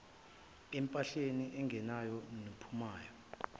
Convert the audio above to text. empahleni engenayo nephumayo